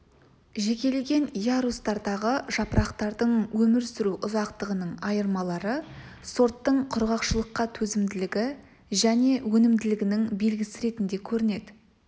жекелеген ярустардағы жапырақтардың өмір сүру ұзақтығының айырмалары сорттың құрғақшылыққа төзімділігі және өнімділігінің белгісі ретінде көрінеді